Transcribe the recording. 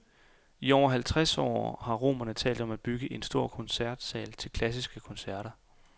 I over halvtreds år har romerne talt om at bygge en stor koncertsal til klassiske koncerter.